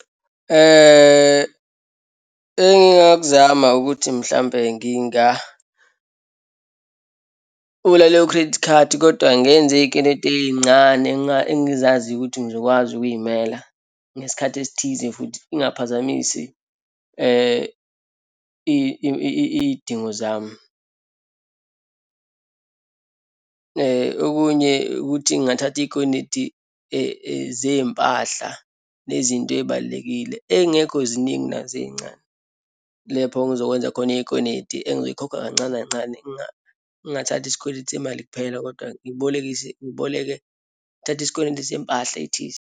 Engingakuzama ukuthi mhlawumbe ngingavula leyo credit card kodwa ngenze iyikweleti eyincane, engizaziyo ukuthi ngizokwazi ukuyimela ngesikhathi esithize futhi, ingaphazamisi iyidingo zami. Okunye ukuthi ngingathatha iyikweleti zeyimpahla nezinto eyibalulekile, eyingekho ziningi nazo eyincane, lapho engizokwenza khona iyikweleti engizoyikhokha kancane kancane. Ngingathathi isikweletu semali kuphela kodwa ngibolekise, ngiboleke, ngithathe isikweletu sempahla ethize.